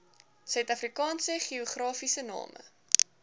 suidafrikaanse geografiese name